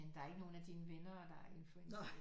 Der er ikke nogle af dine venner der er influencere